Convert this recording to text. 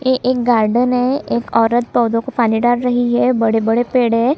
यह एक गार्डन है एक औरत पौधों को पानी डाल रही है बड़े-बड़े पेड़ है।